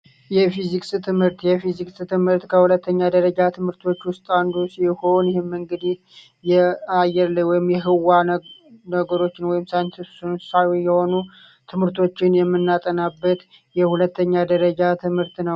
የፊዚክስ ትምህርት የፊዚክስ ትምህርት ከሁለተኛ ደረጃ ትምህርት አንዱ ሲሆን ይህም የአየር ላይ ወይም የህዋ ነገሮችን የሆኑ ሳይንሳዊ ትምህርቶችን የምናጠናበት የሁለተኛ ደረጃ ትምህርት ነው።